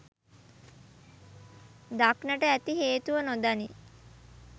දක්නට ඇති හේතුව නොදනී